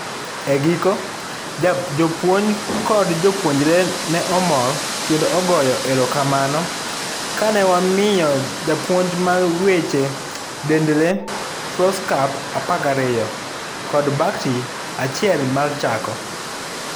Egiko, jopuonj nkod jopuonjre ne mor kendo ogoyo erokamano kane wamiyo japuonj mar weche dend lee Foldscope apar gariyo. kod bakti achiel mar chako.